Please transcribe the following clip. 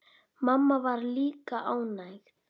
Mamma var líka ánægð.